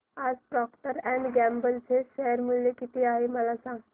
आज Procter and Gamble चे share मूल्य किती आहे मला सांगा